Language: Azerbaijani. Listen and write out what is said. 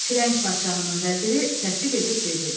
Firəng padşahının vəziri təsdiq edib dedi: